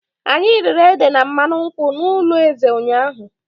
Anyị riri ede na mmanụ nkwụ n'ụlọ eze ụnyahụ.